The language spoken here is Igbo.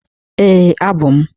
Ee, abụ m.